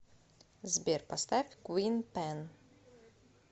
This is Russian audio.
сбер поставь квин пэн